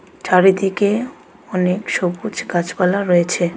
চারিদিকে অনেক সবুজ গাছপালা রয়েছে.